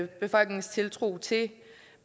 befolkningens tiltro til